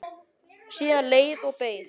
Síðan leið og beið.